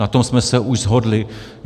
Na tom jsme se už shodli.